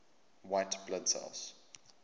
white blood cells